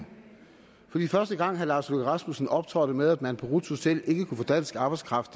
jeg i første gang herre lars løkke rasmussen optrådte med at man på ruths hotel ikke kunne få dansk arbejdskraft